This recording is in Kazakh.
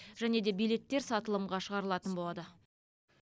және де билеттер сатылымға шығарылатын болады